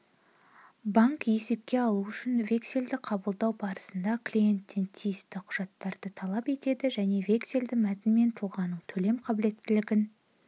банк есепке алу үшін вексельді қабылдау барысында клиенттен тиісті құжаттарды талап етеді және вексельді мәтіні мен тұлғаның төлем қаблеттілігін